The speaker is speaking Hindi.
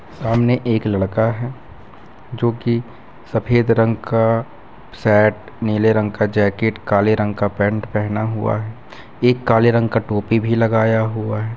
सामने एक लड़का है जो कि सफेद रंग का शर्ट नीले रंग का जैकेट काले रंग का पैंट पहना हुआ है एक काले रंग का टोपी भी लगाया हुआ है।